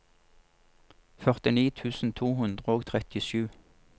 førtini tusen to hundre og trettisju